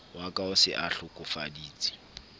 wa ka o se ahlokofaditse